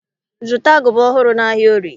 Zụta agụba ọhụrụ n'ahịa Orie!